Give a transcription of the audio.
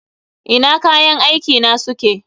Ina kayan aiki na suke?